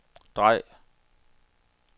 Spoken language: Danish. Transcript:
drej